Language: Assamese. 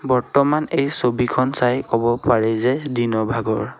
বৰ্তমান এই ছবিখন চাই ক'ব পাৰি যে দিনৰ ভাগৰ।